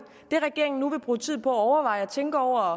det regeringen nu vil bruge tid på at overveje og tænke over